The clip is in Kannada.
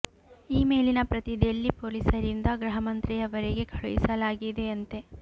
ಈ ಮೇಲಿನ ಪ್ರತಿ ದೆಲ್ಲಿ ಪೋಲಿಸರಿಂದ ಗ್ರಹ ಮಂತ್ರಿಯವರಿಗೆ ಕಳುಹಿಸಲಾಗಿದೆ ಅಂತೆ